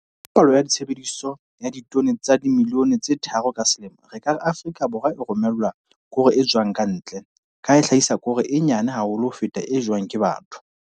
Ka palohare ya tshebediso ya ditone tsa dimilione tse 3 ka selemo, re ka re Afrika Borwa e romellwa koro e tswang ka ntle, ka ha e hlahisa koro e nyane haholo ho feta e jewang ke batho.